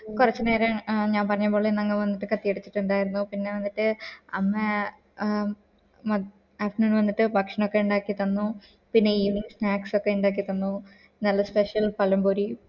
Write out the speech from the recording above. കൊറച്ചു നേരം ആഹ് ഞാൻ പറഞ്ഞെ പോലെ ഞങ്ങ വന്നിട്ട് കത്തി അടിച്ച്ട്ട് ഇണ്ടായിരുന്നു പിന്നെ വന്നിട്ട് അമ്മ ആഹ് മ്മ അച്ഛൻ വന്നിട്ട് ഭക്ഷണം ഒക്കെ ഇണ്ടാക്കി തന്നു പിന്നെ evening snacks ഒക്കെ ഇണ്ടാക്കി തന്നു നല്ല special പാളംപൊരി